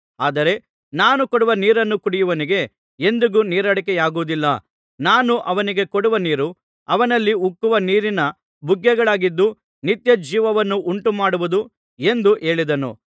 ಆದರೆ ನಾನು ಕೊಡುವ ನೀರನ್ನು ಕುಡಿದವನಿಗೆ ಎಂದಿಗೂ ನೀರಡಿಕೆಯಾಗುವುದಿಲ್ಲ ನಾನು ಅವನಿಗೆ ಕೊಡುವ ನೀರು ಅವನಲ್ಲಿ ಉಕ್ಕುವ ನೀರಿನ ಬುಗ್ಗೆಗಳಾಗಿದ್ದು ನಿತ್ಯ ಜೀವವನ್ನು ಉಂಟುಮಾಡುವುದು ಎಂದು ಹೇಳಿದನು